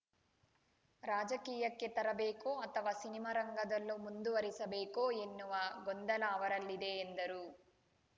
ರಾಜಕೀಯಕ್ಕೆ ತರಬೇಕೋ ಅಥವಾ ಸಿನಿಮಾ ರಂಗದಲ್ಲೋ ಮುಂದುವರೆಸಬೇಕೋ ಎನ್ನುವ ಗೊಂದಲಿ ಅವರಲ್ಲಿದೆ ಎಂದರು